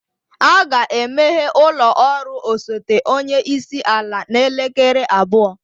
A ga-emeghe ụlọ ọrụ osote onye isi ala n'elekere abụọ?